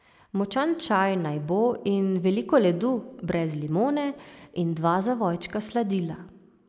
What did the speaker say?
Močan čaj naj bo in veliko ledu, brez limone in dva zavojčka sladila.